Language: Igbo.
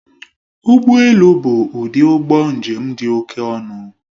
Ụgbọ elu bụ ụdị ụgbọ njem dị oké ọnụ